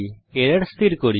error স্থির করি